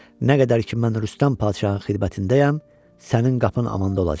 Nə qədər ki, mən Rüstəm padşahın xidmətindəyəm, sənin qapın amanda olacaq.